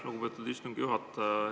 Lugupeetud istungi juhataja!